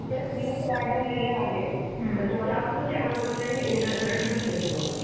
वाढवलेले आहेत. तर तुम्हाला up to seven percent interest rate भेटेल तुम्हाला.